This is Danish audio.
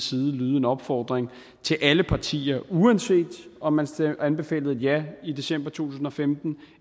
side lyde en opfordring til alle partier uanset om man anbefalede et ja i december to tusind og femten